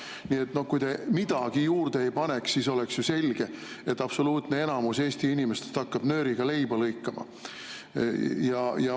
Nii et kui te midagi juurde ei paneks, siis oleks ju selge, et absoluutne enamus Eesti inimestest hakkaks nööriga leiba lõikama.